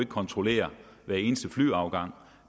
kontrollere hver eneste flyafgang